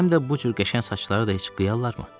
Həm də bu cür qəşəng saçları da heç qıyarlarmı?